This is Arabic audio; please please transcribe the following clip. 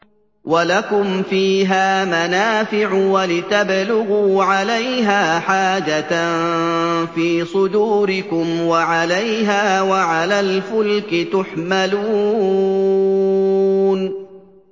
وَلَكُمْ فِيهَا مَنَافِعُ وَلِتَبْلُغُوا عَلَيْهَا حَاجَةً فِي صُدُورِكُمْ وَعَلَيْهَا وَعَلَى الْفُلْكِ تُحْمَلُونَ